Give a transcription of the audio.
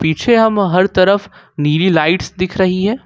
पीछे हम हर तरफ नीली लाइट्स दिख रही है।